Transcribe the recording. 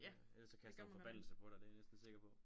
Ellers så kaster hun forbandelse på dig det er jeg næsten sikker på